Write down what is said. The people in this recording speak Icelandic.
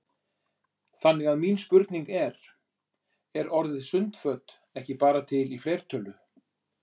Þannig að mín spurning er: Er orðið sundföt ekki bara til í fleirtölu?